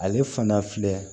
Ale fana filɛ